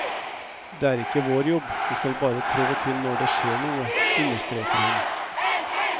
Det er ikke vår jobb, vi skal bare trå til når det skjer noe, understreker hun.